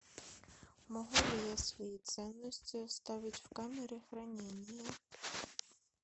могу ли я свои ценности оставить в камере хранения